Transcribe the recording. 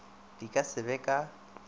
di ka se be ka